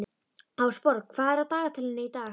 Ásborg, hvað er á dagatalinu í dag?